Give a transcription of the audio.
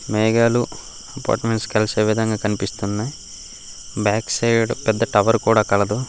మేఘాలు అపార్ట్మెంట్స్ కలిసే విధంగా కనిపిస్తున్నై. బ్యాక్ సైడ్ పెద్ద టవర్ కూడా కలదు.